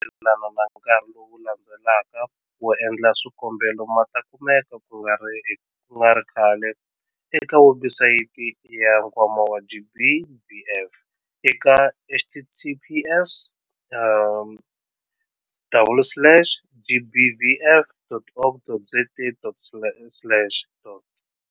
Mayelana na nkarhi lowu landzelaka wo endla swikombelo ma ta kumeka ku nga ri khale eka webusayiti ya Nkwama wa GBVF eka- https - double slash gbvf.org.za slash.